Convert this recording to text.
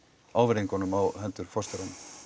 ávirðingunum á hendur forstjóra